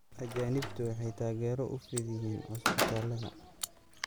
Ajaanibtu waxay taageero u fidiyeen cusbitaallada.